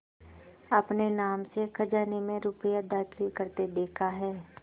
अपने नाम से खजाने में रुपया दाखिल करते देखा है